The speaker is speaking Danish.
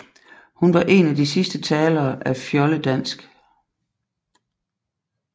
Hun var en af de sidste talere af fjoldedansk